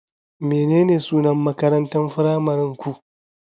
Menene sunan makarantar firamare ku?